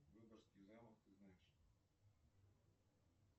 выборгский замок ты знаешь